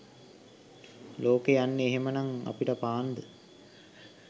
ලෝකෙ යන්නේ එහෙම නම් අපිට පාන්ද?